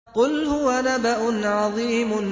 قُلْ هُوَ نَبَأٌ عَظِيمٌ